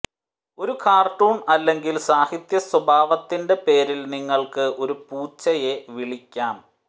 ഒരു കാർട്ടൂൺ അല്ലെങ്കിൽ സാഹിത്യ സ്വഭാവത്തിന്റെ പേരിൽ നിങ്ങൾക്ക് ഒരു പൂച്ചയെ വിളിക്കാം